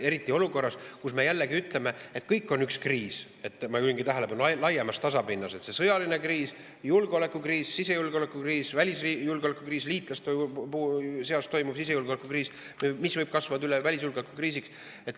Eriti olukorras, kus me jälle ütleme, et kõik on üks kriis, ma juhin tähelepanu, laiemas tasapinnas: on sõjaline kriis, julgeolekukriis, sisejulgeoleku kriis, välisjulgeoleku kriis, liitlaste seas olev sisejulgeoleku kriis, mis võib kasvada välisjulgeoleku kriisiks.